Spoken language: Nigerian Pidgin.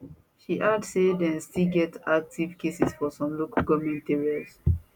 she add say dem still get active cases for some local goment areas